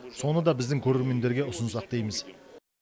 соны да біздің көрермендерге ұсынсақ дейміз